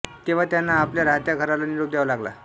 तेव्हा त्यांना आपल्या राहत्या घराला निरोप द्यावा लागला